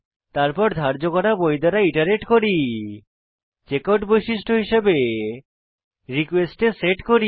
তারপর ধার্য করা বই দ্বারা ইটারেট করি চেকআউট বৈশিষ্ট্য হিসাবে রিকোয়েস্ট এ সেট করি